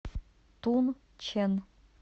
тунчэн